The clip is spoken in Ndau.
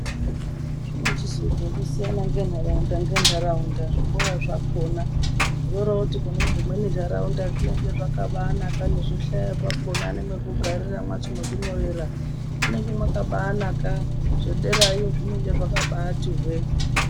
Zvinichizoita ekusiyana ngenharaunda ngenharaunda zvikora zvakhona. Zvoroti kune dzimweni nharaunda zvinenge zvakabaanaka nezvihlayo zvakhona nemwekugarira mwacho. Mwekunyorera munenge mwakabaanaka. Zvedera yo zvinenge zvakabati hwee.